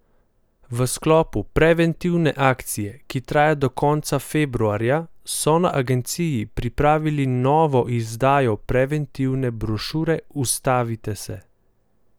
V sklopu preventivne akcije, ki traja do konca februarja, so na agenciji pripravili novo izdajo preventivne brošure Ustavite se!